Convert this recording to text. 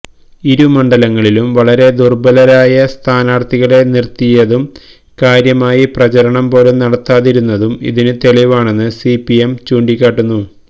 ഇരു മണ്ഡലങ്ങളിലും വളരെ ദുർബലരായ സ്ഥാനാർത്ഥികളെ നിർത്തിയതും കാര്യമായി പ്രചാരണം പോലും നടത്താതിരുന്നതും ഇതിന് തെളിവാണെന്ന് സിപിഎം ചൂണ്ടിക്കാട്ടുന്നു